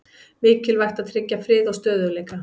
Mikilvægt að tryggja frið og stöðugleika